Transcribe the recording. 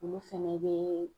Olu fɛnɛ bɛ